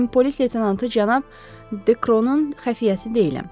Mən polis leytenantı cənab Dekronun xəfiyyəsi deyiləm.